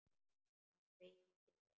Hann veitti vel